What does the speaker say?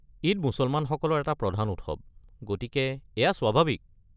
ঈদ মুছলমানসকলৰ এটা প্ৰধান উৎসৱ, গতিকে এয়া স্বাভাৱিক।